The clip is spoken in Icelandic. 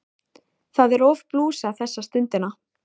Það er of blúsað þessa stundina.